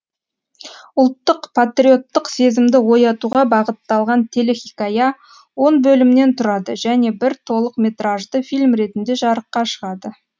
ұлттық патриоттық сезімді оятуға бағытталған телехикая он бөлімнен тұрады және бір толықметражды фильм ретінде жарыққа шығады